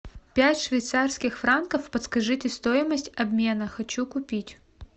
пять швейцарских франков подскажите стоимость обмена хочу купить